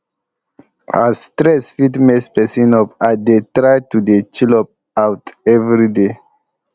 as stress um fit mess persin up i dey dey try to dey chill um out everyday